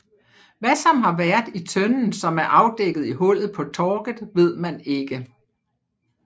Hva som har vært i tønnen som er avdekket i hullet på Torget vet man ikke